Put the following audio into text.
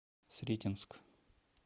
сретенск